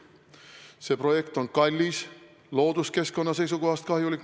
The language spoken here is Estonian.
See projekt on kallis ja looduskeskkonna seisukohast kahjulik.